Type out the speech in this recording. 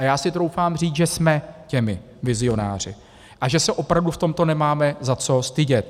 A já si troufám říct, že jsme těmi vizionáři a že se opravdu v tomto nemáme za co stydět.